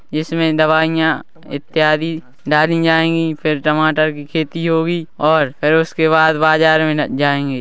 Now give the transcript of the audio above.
इसमें दवाइयें इत्यादि डाली जाएँगी फिर टमाटर की खेती होगी और और उसके बाद बाजार में जायेंगे --